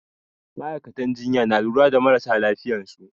Ma'aikatan jinya na lura da marasa lafiyansu